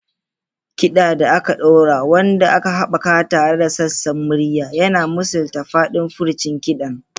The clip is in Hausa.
Kiɗa da aka ɗora, wanda aka haɓaka tare da sassan murya, yana misalta faɗin furcin kiɗan.